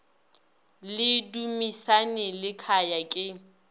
le dumisani le khaya ke